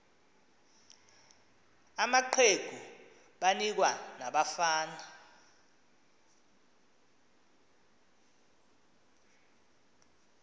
amaqegu banikwa nabafana